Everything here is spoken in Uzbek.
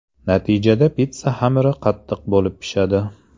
Natijada pitssa xamiri qattiq bo‘lib pishadi.